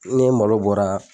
N ga malo bɔra